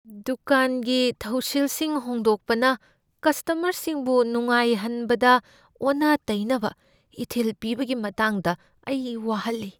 ꯗꯨꯀꯥꯟꯒꯤ ꯊꯧꯁꯤꯜꯁꯤꯡ ꯍꯣꯡꯗꯣꯛꯄꯅ ꯀꯁꯇꯃꯔꯁꯤꯡꯕꯨ ꯅꯨꯡꯉꯥꯏꯍꯟꯕꯗ ꯑꯣꯟꯅ ꯇꯩꯅꯕ ꯏꯊꯤꯜ ꯄꯤꯕꯒꯤ ꯃꯇꯥꯡꯗ ꯑꯩ ꯋꯥꯍꯟꯂꯤ꯫